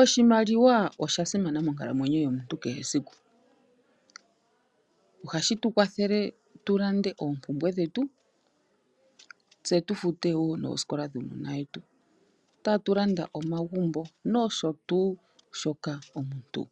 Oshimaliwa osha simana monkalamwenyo yomuntu kehe esiku, ohashi tu kwathele tulande oompumbwe dhetu, tse tufute woo noosikola dhuunona wetu. Tatu landa omagumbo nosho tuu shoka omuntu